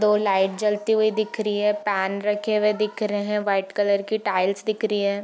दो लाइट जलती हुई दिख रही है पेन रखे हुए दिख रहे हैं व्हाइट कलर के टाइल्स दिख रही है।